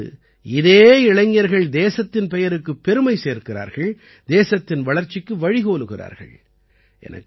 இதன் பிறகு இதே இளைஞர்கள் தேசத்தின் பெயருக்குப் பெருமை சேர்க்கிறார்கள் தேசத்தின் வளர்ச்சிக்கு வழி கோலுகிறார்கள்